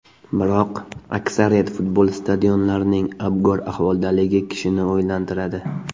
Biroq, aksariyat futbol stadionlarining abgor ahvoldaligi kishini o‘ylantiradi.